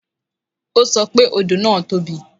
O sọ pé odò náà tóbi